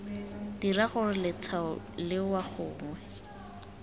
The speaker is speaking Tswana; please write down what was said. dira gore letshwao leo gongwe